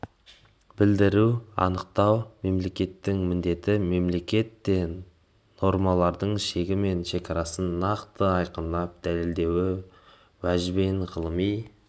білдіру анықтау мемлекеттің міндеті мемлекет те нормалардың шегі мен шекарасын нақты айқындап дәлелді уәжбен ғылыми